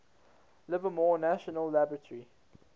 livermore national laboratory